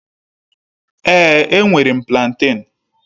Èé, enwere m plantén